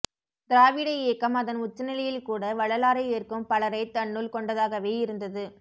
திராவிட இயக்கம் அதன் உச்சநிலையில்கூட வள்ளலாரை ஏற்கும் பலரை தன்னுள்கொண்டதாகவே இருந்தது